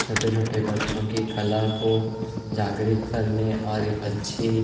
छोटे- छोटे बच्चों की कला को जाग्रित करने और एक अच्छी --